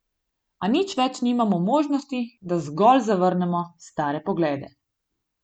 A nič več nimamo možnosti, da zgolj zavrnemo stare poglede.